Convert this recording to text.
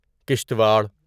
Kishtwar